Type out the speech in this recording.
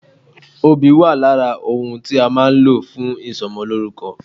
Obì wà lára ohun tí a má a nlò fún ìsomolórúko